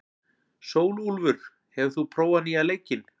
Sólúlfur, hefur þú prófað nýja leikinn?